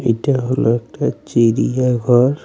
এটা হল একটা চিড়িয়া ঘর.